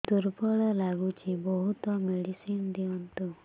ଦୁର୍ବଳ ଲାଗୁଚି ବହୁତ ମେଡିସିନ ଦିଅନ୍ତୁ